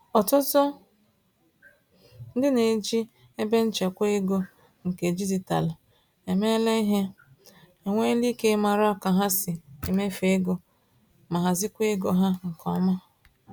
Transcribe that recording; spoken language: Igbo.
Ọtụtụ ndị neji ebenchekwa ego nke dijitalụ eme ìhè, enwela íke màrà ka ha si emefu ego, ma nahazikwa égo ha nke ọma.